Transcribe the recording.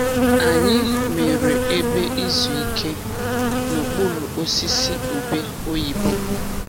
Anyị mere ebe izu ike n'okpuru osisi ube oyibo.